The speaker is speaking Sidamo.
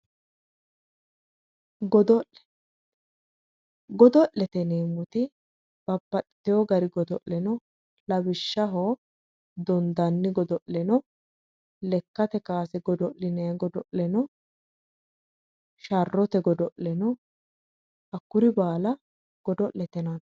Godo'le, godo'lete yineemmoti babbaxitewo gari godo'le no, lawishshaho dondanni godo'le no, lekkate kowase godo'linanniti no, sharrote godo'le no, hakkuri baalla godo'lete yinnanni.